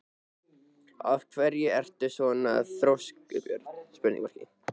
Af hverju ertu svona þrjóskur, Björt?